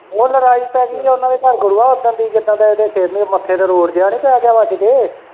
ਉਹ ਲਵਾਈ ਤਾਂ ਸੀ ਉਨਾਂ ਦੇ ਘਰ ਗੁਰੂਆਂ ਓਦਨ ਦੀ ਜਿਦਨ ਦੀ ਏਦੇ ਸਿ ਰ ਤੇ ਮੱਥੇ ਤੇ ਰੋੜ ਜੇਆ ਨੀ ਪੈ ਗਿਆ ਵੱਜ ਕੇ।